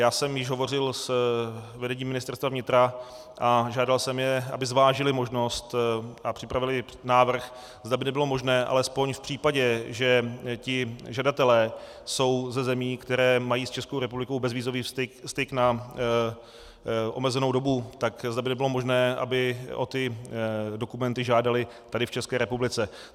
Já jsem již hovořil s vedením Ministerstva vnitra a žádal jsem je, aby zvážili možnost a připravili návrh, zda by nebylo možné alespoň v případě, že ti žadatelé jsou ze zemí, které mají s Českou republikou bezvízový styk na omezenou dobu, tak zda by nebylo možné, aby o ty dokumenty žádali tady v České republice.